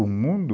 O mundo